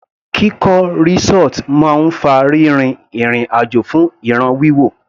Kíkọ́ resort máa ń fa rírin ìrìn àjò fún ìràn wíwò.